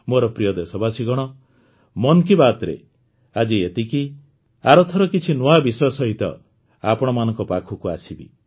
ମୋର ପ୍ରିୟ ଦେଶବାସୀଗଣ ମନ୍ କି ବାତ୍ରେ ଆଜି ଏତିକି ଆରଥର କିଛି ନୂଆ ବିଷୟ ସହିତ ଆପଣମାନଙ୍କ ପାଖକୁ ଆସିବି